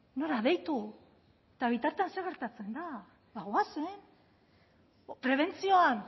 nora deitu eta bitartean zer gertatzen da ba goazen prebentzioan